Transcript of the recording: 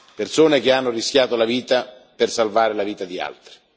Persone che hanno rischiato la vita per salvare la vita di altri.